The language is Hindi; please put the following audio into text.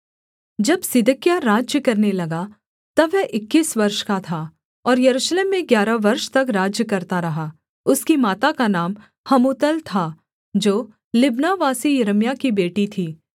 जब सिदकिय्याह राज्य करने लगा तब वह इक्कीस वर्ष का था और यरूशलेम में ग्यारह वर्ष तक राज्य करता रहा उसकी माता का नाम हमूतल था जो लिब्नावासी यिर्मयाह की बेटी थी